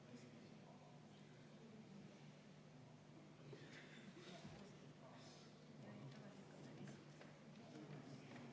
Ukrainas käib sõda, täiemahuline sõda, Vene agressor tapab ja mõrvab rahulikku tsiviilelanikkonda, naisi, lapsi ja vanureid.